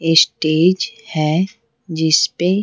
stage है जिस पे--